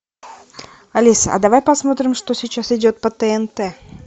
алиса а давай посмотрим что сейчас идет по тнт